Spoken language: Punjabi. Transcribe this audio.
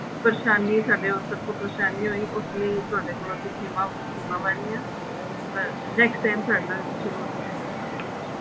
ਪਰੇਸ਼ਾਨੀ ਸਾਡੇ ਤਰਫ਼ ਤੋਂ ਪਰੇਸ਼ਾਨੀ ਹੋਈ ਉਸ ਲਈ ਤੁਹਾਡੇ ਕੋਲੋ ਅਸੀਂ ਹਾਂ next time ਸਾਡੇ ਨਾਲ ਤੁਸੀਂ ਜਰੂਰ ਗੱਲ ਕਰਲਿਓ